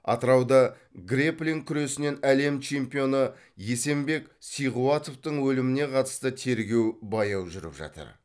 атырауда грэпплин күресінен әлем чемпионы есенбек сиғуатовтың өліміне қатысты тергеу баяу жүріп жатыр